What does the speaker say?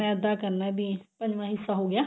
ਮੈਦਾ ਕਰਨਾ ਵੀ ਪੰਜਵਾਂ ਹਿੱਸਾ ਹੋ ਗਿਆ